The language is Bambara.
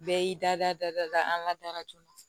Bɛɛ y'i da da dada an ka datugu